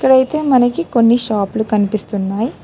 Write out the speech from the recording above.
డైతే మనకి కొన్ని షాపులు కనిపిస్తున్నాయ్.